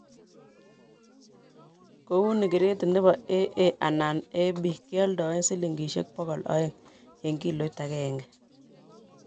kou ni, gredit nebo AA anan AB keoldoen silingisiek bokol aeng eng kiloit agenge